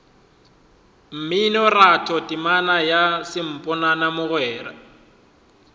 mminoratho temana ya samponana mogwera